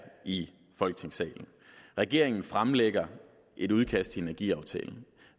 i folketingssalen regeringen fremlægger et udkast til energiaftalen